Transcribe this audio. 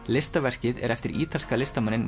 listaverkið er eftir ítalska listamanninn